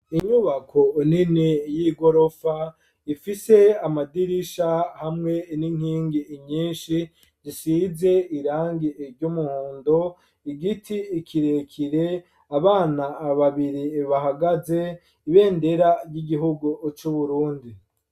Inyubako nini y'igorofa ifise amadirisha hamwe n'inkingi inyinshi zisize irangi iry' umuhondo igiti kirekire abana babiri bahagaze ibendera ry'igihugu c'uburundi.